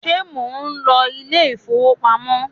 ṣe món ló Ilé ìfowópamọ́?